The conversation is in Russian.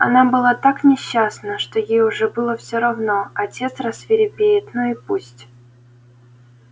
она была так несчастна что ей уже было всё равно отец рассвирепеет ну и пусть